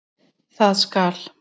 Það skal